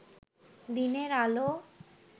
দিনের আলো